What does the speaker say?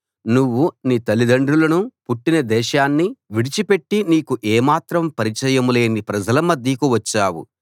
నువ్వు నీ తల్లిదండ్రులనూ పుట్టిన దేశాన్నీ విడిచిపెట్టి నీకు ఏమాత్రం పరిచయం లేని ప్రజల మధ్యకు వచ్చావు